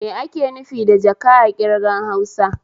Me ake nufi da jaka a ƙirgan Hausa?